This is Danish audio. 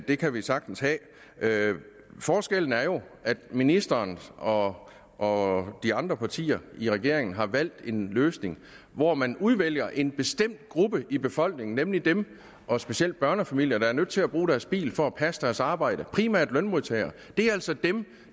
det kan vi sagtens have forskellen er jo at ministeren og og de andre partier i regeringen har valgt en løsning hvor man udvælger en bestemt gruppe i befolkningen nemlig dem og specielt børnefamilier der er nødt til at bruge deres bil for at passe deres arbejde det primært lønmodtagere det er altså dem